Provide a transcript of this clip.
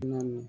Na